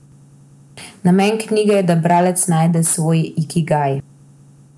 Namen knjige je, da bralec najde svoj ikigaj.